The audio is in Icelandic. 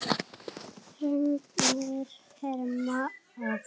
Fregnir herma að.